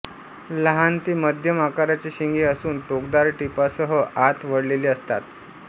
लहान ते मध्यम आकाराचे शिंगे असून टोकदार टिपांसह आत वळलेले असतात